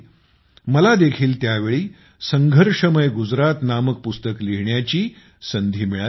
मला देखील त्यावेळी संघर्षमय गुजरात नामक पुस्तक लिहिण्याची संधी मिळाली होती